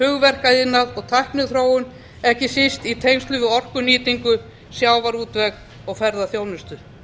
hugverkaiðnað og tækniþróun ekki síst í tengslum við orkunýtingu sjávarútveg og ferðaþjónustu